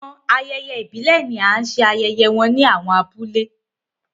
Awọn ayẹyẹ ibile ni a ṣe ayẹyẹ ni awọn abule